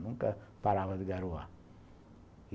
Nunca parava de garoar.